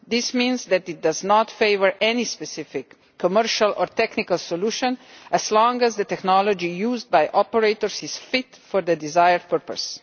This means that it does not favour any specific commercial or technical solution as long as the technology used by operators is fit for the desired purpose.